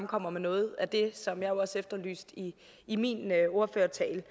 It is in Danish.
kommer med noget af det som jeg også efterlyste i i min ordførertale